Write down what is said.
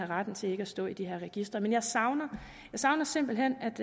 ret til ikke at stå i de her registre men jeg savner savner simpelt hen